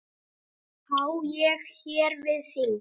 Á ég hér við þing.